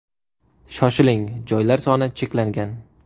Shoshiling, joylar soni cheklangan.